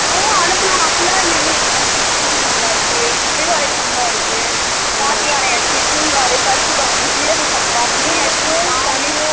ஓ அனுப்புலாம் அப்பிடீல்லாம் இல்ல இருங்க கிச்சடி சம்பா இருக்கு, சிறுவாழை சம்பா இருக்கு, பாக்கியானை அரிசி, பூங்காறு, கர்ப்புகவனை, சீராக சம்பா, திணை அரிசி